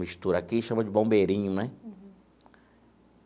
Mistura aqui, chama de bombeirinho, né?